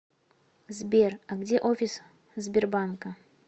сбер а где офис сбербанка